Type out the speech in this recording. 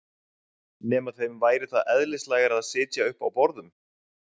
Nema þeim væri það eðlislægara að sitja uppi á borðum?